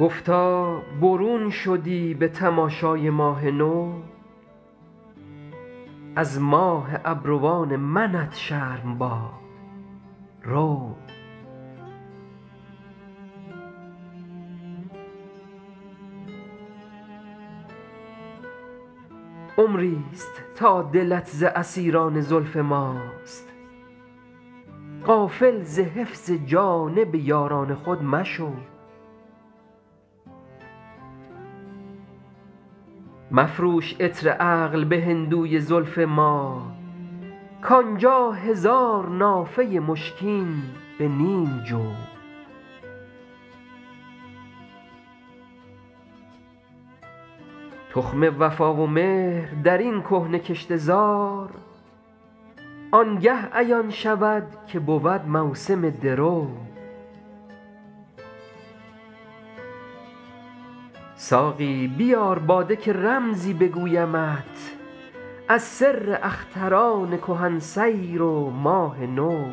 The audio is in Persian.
گفتا برون شدی به تماشای ماه نو از ماه ابروان منت شرم باد رو عمری ست تا دلت ز اسیران زلف ماست غافل ز حفظ جانب یاران خود مشو مفروش عطر عقل به هندوی زلف ما کان جا هزار نافه مشکین به نیم جو تخم وفا و مهر در این کهنه کشته زار آن گه عیان شود که بود موسم درو ساقی بیار باده که رمزی بگویمت از سر اختران کهن سیر و ماه نو